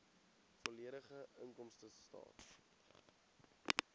volledige inkomstestaat